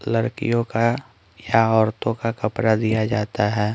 लड़कियों का या औरतों का कपड़ा दिया जाता है।